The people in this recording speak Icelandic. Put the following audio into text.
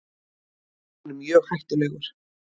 Hann er mjög hættulegur.